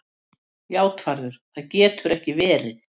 JÁTVARÐUR: Það getur ekki verið.